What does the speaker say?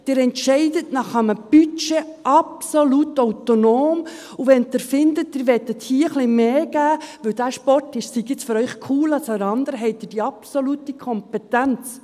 Sie entscheiden nach einem Budget absolut autonom, und wenn Sie finden, Sie wollen hier etwas mehr geben, weil dieser Sport jetzt für Sie cooler ist als der andere, haben Sie die absolute Kompetenz.